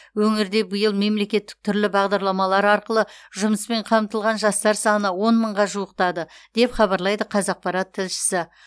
өңірде биыл мемлекеттік түрлі бағдарламалар арқылы жұмыспен қамтылған жастар саны он мыңға жуықтады деп хабарлайды қазақпарат тілшісі